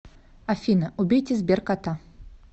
афина убейте сберкота